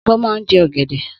Obo màan je ogede.